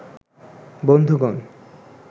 বন্ধুগণ